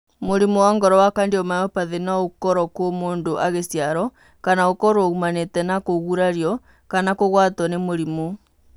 Mũrimũ wa ngoro wa cardiomyopathy no ũkorũo kuo mũndũ agĩciarwo kana ũkorũo ũmanĩte na kũgurario kana kũgwato nĩ mũrimũ.